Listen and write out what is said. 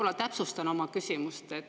Ma täpsustan oma küsimust.